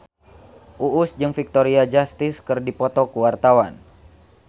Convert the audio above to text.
Uus jeung Victoria Justice keur dipoto ku wartawan